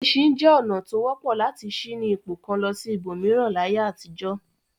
Ẹṣin jẹ́ ọ̀nà tó wọ́pọ̀ lati ṣí ní ipò kan lọ sí ibòmíràn láyé àtijọ́.